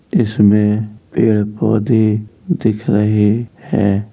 इसमें पेड़ पौधे दिख रहे हैं।